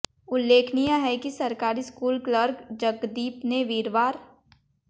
उल्लेखनीय है कि सरकारी स्कूल क्लर्क जगदीप ने वीरवार